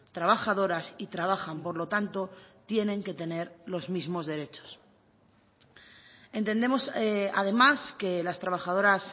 trabajadoras y trabajan por lo tanto tienen que tener los mismos derechos entendemos además que las trabajadoras